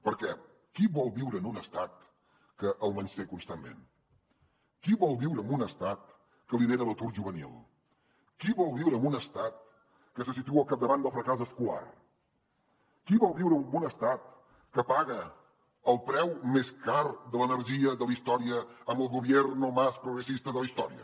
perquè qui vol viure en un estat que el menysté constantment qui vol viure en un estat que lidera l’atur juvenil qui vol viure en un estat que se situa al capdavant del fracàs escolar qui vol viure en un estat que paga el preu més car de l’energia de la història amb el gobierno más progresista de la història